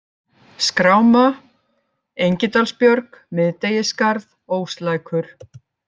Skráma, Engidalsbjörg, Miðdegisskarð, Óslækur